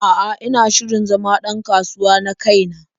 A'a, ina shirin zama ɗ an kasuwa na kai na.